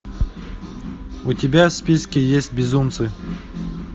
у тебя в списке есть безумцы